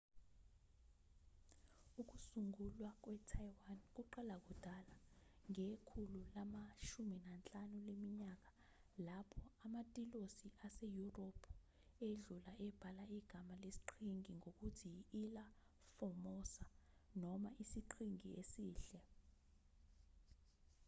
ukusungulwa kwetaiwan kuqala kudala ngekhulu lama-15 leminyaka lapho amatilosi aseyurophu edlula ebhala igama lesiqhingi ngokuthi i-ilha formosa noma isiqhingi esihle